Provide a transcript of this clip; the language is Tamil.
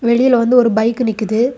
வெளில வந்து ஒரு பைக் நிக்குது.